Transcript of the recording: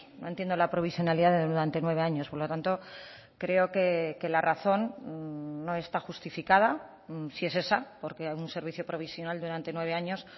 no entiendo la provisionalidad durante nueve años por lo tanto creo que la razón no está justificada si es esa porque un servicio provisional durante nueve años